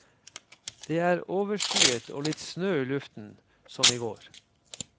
Det er overskyet og litt snø i luften som i går.